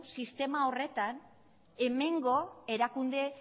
sistema horretan hemengo erakunde